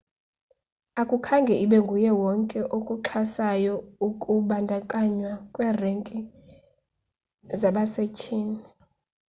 akukhange ibe nguye wonke okuxhasayo ukubandakanywa kwe renki zabasethyini